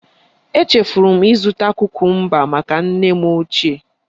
Echefuru m ịzụta kukumba maka nne m ochie